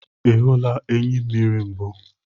Ị hụla enyimmiri mbụ?